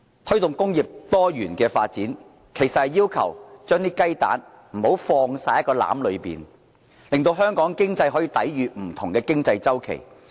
推動工業多元發展，其實是要求不要把雞蛋全放進同一個籃子裏，讓香港的經濟可以抵禦不同的經濟周期。